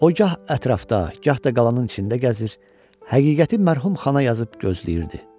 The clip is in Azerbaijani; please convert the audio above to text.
O gah ətrafda, gah da qalanın içində gəzir, həqiqəti mərhum xana yazıb gözləyirdi.